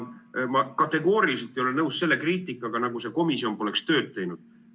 Ma kategooriliselt ei ole nõus selle kriitikaga, nagu see komisjon poleks tööd teinud.